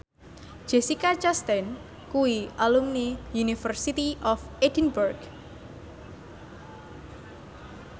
Jessica Chastain kuwi alumni University of Edinburgh